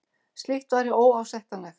Slíkt væri óásættanlegt